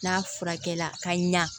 N'a furakɛli la ka ɲa